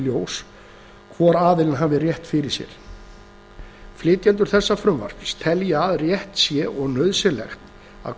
ljós hvor aðilinn hafi rétt fyrir sér flytjendur þessa frumvarps telja að rétt sé og nauðsynlegt að